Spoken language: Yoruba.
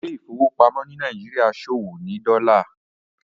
Ilé ìfowópamọ́ ni Nàìjíríà ṣòwò ní Dola.